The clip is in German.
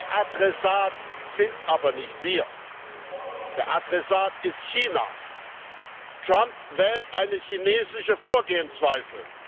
Der Adressat sind aber nicht wir, der Adressat ist China. Trump wählt eine chinesische Vorgehensweise.